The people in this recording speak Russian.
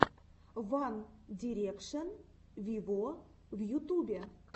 ван дирекшен виво в ютубе